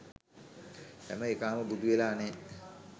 හැම එකාම බුදු වෙලා නෑ